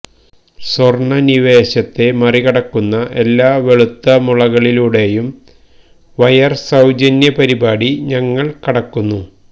സ്വർണ്ണനിവേശത്തെ മറികടക്കുന്ന എല്ലാ വെളുത്തമുളകളിലൂടെയും വയർ സൌജന്യ പരിപാടി ഞങ്ങൾ കടക്കുന്നു